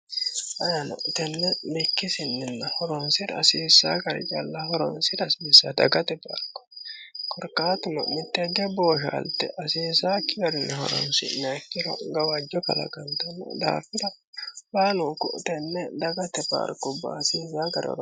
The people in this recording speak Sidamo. ayino tenne bikkisinninna horoonsira asibissa gari calla horoonsira asibisa dagate paalko korkaatu lo'mittegge booshaalte asiisaakki warinni horonsineikkiro gawajjo kalagantanno daafira baalunku tenne dagate baalkoubba haasiinsaa garinnini